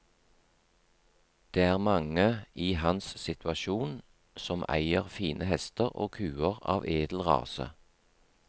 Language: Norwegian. Det er mange i hans situasjon som eier fine hester og kuer av edel rase.